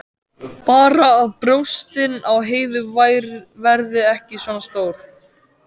Bara að brjóstin á Heiðu verði ekki svona stór.